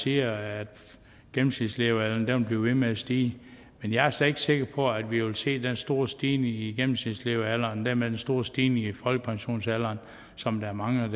siger at gennemsnitslevealderen vil blive ved med at stige men jeg er slet ikke sikker på at vi vil se den store stigning i gennemsnitslevealderen og dermed den store stigning i folkepensionsalderen som der er mange